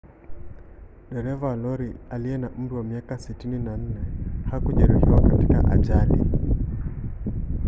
dereva wa lori aliye na umri wa miaka 64 hakujeruhiwa katika ajali